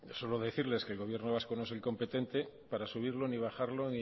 solo decirles que el gobierno vasco no es hoy competente para subirlo ni bajarlo